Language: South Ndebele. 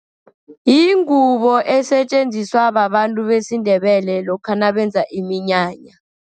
Yingubo esetjenziswa babantu besiNdebele, lokha nabenza iminyanya.